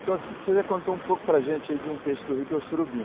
Então, você já contou um pouco para gente aí de um peixe do rio que é o surubim.